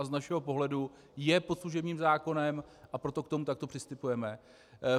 A z našeho pohledu je pod služebním zákonem, a proto k němu takto přistupujeme.